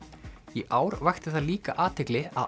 í ár vakti það líka athygli að